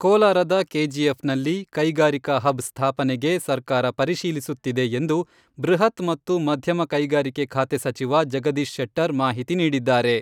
ಕೋಲಾರದ ಕೆಜಿಎಫ್ ನಲ್ಲಿ ಕೈಗಾರಿಕಾ ಹಬ್ ಸ್ಥಾಪನೆಗೆ ಸರ್ಕಾರ ಪರಿಶೀಲಿಸುತ್ತಿದೆ ಎಂದು ಬೃಹತ್ ಮತ್ತು ಮಧ್ಯಮ ಕೈಗಾರಿಕೆ ಖಾತೆ ಸಚಿವ ಜಗದೀಶ್ ಶೆಟ್ಟರ್ ಮಾಹಿತಿ ನೀಡಿದ್ದಾರೆ.